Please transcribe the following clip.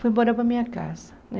Fui embora para a minha casa, né?